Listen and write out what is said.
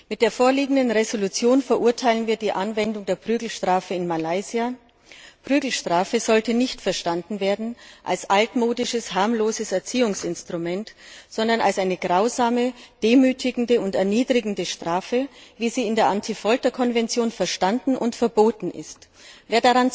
Mit der vorliegenden Entschließung verurteilen wir die Anwendung der Prügelstrafe in Malaysia. Prügelstrafe sollte nicht verstanden werden als altmodisches, harmloses Erziehungsinstrument, sondern als eine grausame, demütigende und erniedrigende Strafe, wie sie in der Antifolter Konvention verstanden und verboten wird.